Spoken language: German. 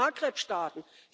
aus den Maghreb Staaten.